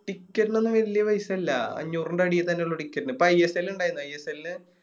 Ticket നൊന്നും വല്യ പൈസ ഇല്ല അഞ്ഞൂറിൻറെ അടിത്തന്നെ ഉള്ളു Ticket ന് ഇപ്പൊ ISL ഇണ്ടായിരുന്നു ISL